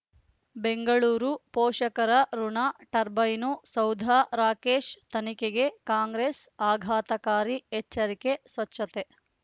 ಬೆಂಗಳೂರು ಪೋಷಕರಋಣ ಟರ್ಬೈನು ಸೌಧ ರಾಕೇಶ್ ತನಿಖೆಗೆ ಕಾಂಗ್ರೆಸ್ ಆಘಾತಕಾರಿ ಎಚ್ಚರಿಕೆ ಸ್ವಚ್ಛತೆ